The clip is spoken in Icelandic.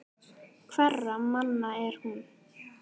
Hverra manna er hún?